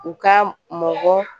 U ka mɔgɔ